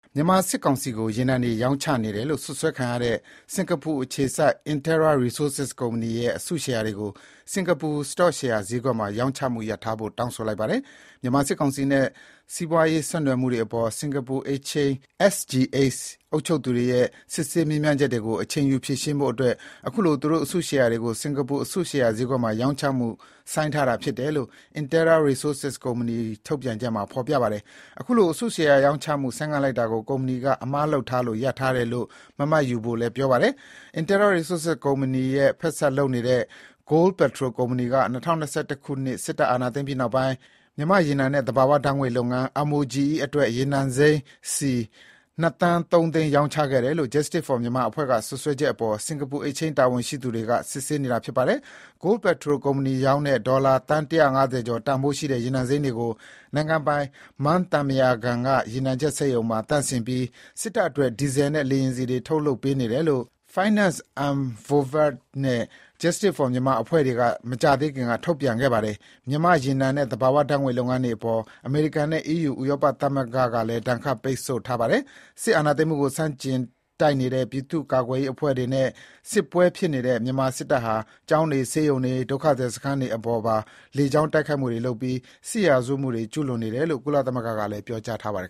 မြန်မာစစ်ကောင်စီကို ရေနံတွေရောင်းချနေတယ်လို့စွပ်စွဲခံရတဲ့ စင်္ကာပူအခြေစိုက် Interra Resources ကုမ္ပဏီရဲ့ အစုရှယ်ယာတွေကို စင်္ကာပူ စတော့ရှယ်ယာဈေးကွက်မှာ ရောင်းချမှုရပ်ထားဖို့ တောင်းဆိုထားပါတယ်။ မြန်မာစစ်ကောင်စီနဲ့ စီးပွားရေးဆက်နွယ်မှုတွေအပေါ် စင်္ကာပူ Exchange SGX အုပ်ချုပ်သူတွေရဲ့ စစ်ဆေးမေးမြန်းချက်တွေကို အချိန်ယူဖြေရှင်းဖို့အတွက် အခုလို သူတို့အစုရှယ်ယာတွေကို စင်္ကာပူအစုရှယ်ယာဈေးကွက်မှာ ရောင်းချမှုဆိုင်းထားတာဖြစ်တယ်လို့ Interra Resources ကုမ္ပဏီ ထုတ်ပြန်ချက်မှာ ဖော်ပြထားပါတယ်။ အခုလို အစုရှယ်ယာရောင်းချမှု ဆိုင်းငံ့လိုက်တာကို ကုမ္ပဏီက အမှားလုပ်ထားလို့ ရပ်ထားတယ်လို့ မမှတ်ယူဖို့လည်း ပြောထားပါတယ်။ Interra Resources ကုမ္ပဏီနဲ့ ဖက်စပ်လုပ်နေတဲ့ Goldpetrol ကုမ္ပဏီက ၂၀၂၁ ခုနှစ် စစ်တပ်အာဏာ သိမ်းပြီးနောက်ပိုင်း မြန်မာ့ရေနံနဲ့ သဘာဝဓါတ်ငွေ့လုပ်ငန်း (MOGE) အတွက် ရေနံစိမ်းစည် ၂ သန်း ၃ သိန်း ရောင်းခဲ့တယ်လို့ Justice for Myanmar အဖွဲ့က စွပ်စွဲချက်အပေါ် စင်္ကာပူ Exchange တာဝန်ရှိသူ တွေက စစ်ဆေးနေတာဖြစ်ပါတယ်။Goldpetrol ကုမ္ပဏီရောင်းတဲ့ ဒေါ်လာသန်း ၁၅၀ ကျော် တန်ဖိုး ရှိတဲ့ ရေနံစိမ်းတွေကို နိုင်ငံပိုင် မန်းသံပုရာကန်ရေနံချက်စက်ရုံမှာသန့်စင်ပြီး စစ်တပ်အတွက် ဒီဇယ်နဲ့ လေယာဉ်ဆီတွေ ထုတ်လုပ်ပေးနေတယ်လို့ Finance Unvovered နဲ့ Justice for Myanmar အဖွဲ့တွေက မကြာသေးခင်က ထုတ်ဖေါ်ခဲ့ပါတယ်။ မြန်မာ့ရေနံနဲ့ သဘာဝဓါတ်ငွေ့လုပ်ငန်းအပေါ် အမေရိကန်နဲ့ EU ဥရောပသမဂ္ဂက ဒဏ်ခတ်ပိတ်ဆို့ထားပါတယ်။ စစ်အာဏာသိမ်းမှုကို ဆန့်ကျင်တိုက်နေတဲ့ ပြည်သူ့ကာကွယ်ရေးအဖွဲ့တွေနဲ့ စစ်ပွဲတွေဖြစ်နေတဲ့ မြန်မာစစ်တပ်ဟာ ကျောင်းတွေ၊ ဆေးရုံတွေ၊ ဒုက္ခသည်စခန်းတွေအပေါ်ပါ လေကြောင်းတိုက်ခိုက် နေပြီး စစ်ရာဇဝတ်မှုတွေ ကျူးလွန်နေတယ်လို့ ကုလသမဂ္ဂက ပြောကြားထားပါတယ်